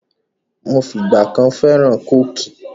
Mi ò fìgbà kan fẹ́ràn Kóòkì